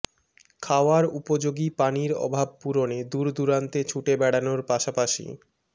খাওয়ার উপযোগী পানির অভাব পূরণে দূরদূরান্তে ছুটে বেড়ানোর পাশাপাশি